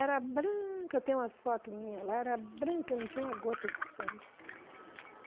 Era branca, eu tenho umas fotos minha lá, eu era branca, não tinha uma gota de sangue.